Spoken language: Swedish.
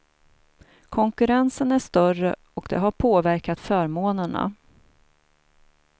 Konkurrensen är större och det har påverkat förmånerna.